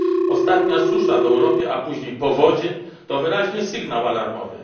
Ostatnia susza w Europie, a później powodzie to wyraźny sygnał alarmowy.